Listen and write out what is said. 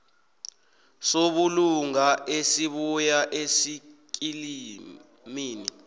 sobulunga esibuya esikimini